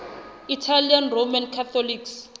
italian roman catholics